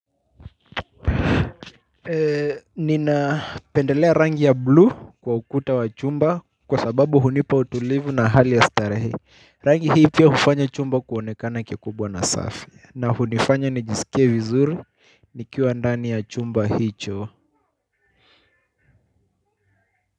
Ninapendelea rangi ya blue kwa ukuta wa chumba kwasababu hunipa utulivu na hali ya starehe rangi hii pia hufanya chumba kuonekana kikubwa na safi na hunifanya nijisikie vizuri nikiwa ndani ya chumba hicho.